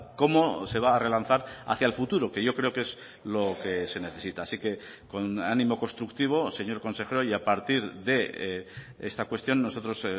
cómo se va a relanzar hacia el futuro que yo creo que es lo que se necesita así que con ánimo constructivo señor consejero y a partir de esta cuestión nosotros